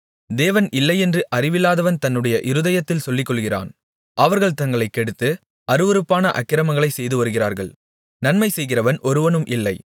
தேவன் இல்லை என்று அறிவில்லாதவன் தன்னுடைய இருதயத்தில் சொல்லிக்கொள்ளுகிறான் அவர்கள் தங்களைக் கெடுத்து அருவருப்பான அக்கிரமங்களைச் செய்து வருகிறார்கள் நன்மைசெய்கிறவன் ஒருவனும் இல்லை